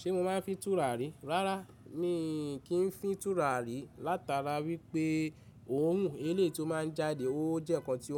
Ṣé mo máa ń fi tùrà rí? Rárá mi kì n fi n tùrà rí látara wípé òórùn elé tó máa ń jáde ó jẹ́ ǹkan tí